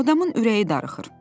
Adamın ürəyi darıxır.